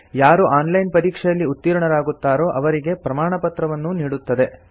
ಯಾರು online ಪರೀಕ್ಷೆಯಲ್ಲಿ ಉತ್ತೀರ್ಣರಾಗುತ್ತಾರೋ ಅವರಿಗೆ ಪ್ರಮಾಣಪತ್ರವನ್ನೂ ನೀಡುತ್ತದೆ